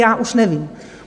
Já už nevím.